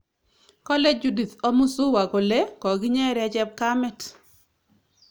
Kale Judith Omuzuwa kole kokinyeree chepkamet